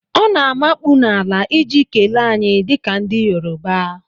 Ọ na-amakpu n'ala iji kelee anyị dịka ndị Yorùbá.